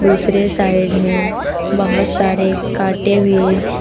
दूसरे साइड में बहोत सारे काटे हुए--